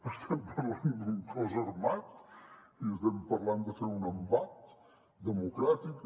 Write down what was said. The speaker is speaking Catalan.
estem parlant d’un cos armat i estem parlant de fer un embat democràtic